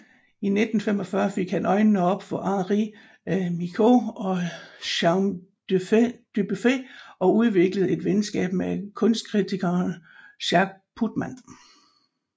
I 1945 fik han øjnene op for Henri Michaux og Jean Dubuffet og udviklede et venskab med kunstkritikeren Jacques Putman